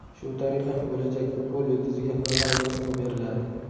Shu tariqa bo‘lajak futbol yulduziga Ronaldu ismi beriladi.